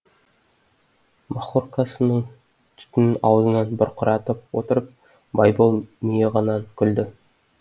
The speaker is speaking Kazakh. махоркасының түтінін аузынан бұрқыратып отырып байбол миығынан күлді